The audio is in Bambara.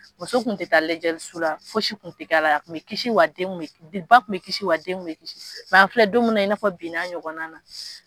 Muso kun tɛ taa lajɛliso la fosi kun tɛ k'a la, a kun bɛ kisi wa den kun bɛ, ba kun bɛ kisi wa den kun bɛ kisi mɛ an filɛ don min na i n'a fɔ binna ɲɔgɔnna na